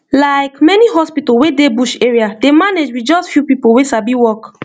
like many hospital wey dey bush area dey manage with just few people wey sabi work